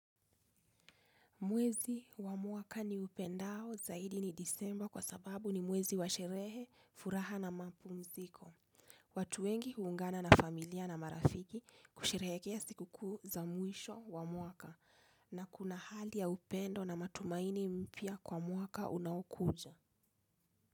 Mwezi wa mwaka niupendao zaidi ni desemba kwa sababu ni mwezi wa sherehe, furaha na mapumziko. Watu wengi huungana na familia na marafiki kusherehekea sikukuu za mwisho wa mwaka na kuna hali ya upendo na matumaini mpya kwa mwaka unaokuja.